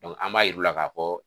an b'a yiru la ka fɔ.